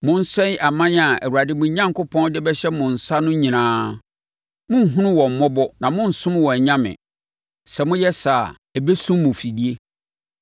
Monsɛe aman a Awurade mo Onyankopɔn de bɛhyɛ mo nsa no nyinaa. Monnhunu wɔn mmɔbɔ na monnsom wɔn anyame. Sɛ moyɛ saa a, ɛbɛsum mo afidie.